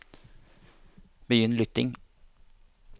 begynn lytting